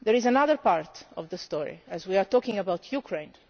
There is another part of the story while we are talking about Ukraine.